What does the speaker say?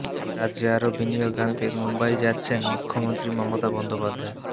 রাজ্যে আরও বিনিয়োগ আনতে মুম্বই যাচ্ছেন মুখ্যমন্ত্রী মমতা বন্দ্যোপাধ্যায়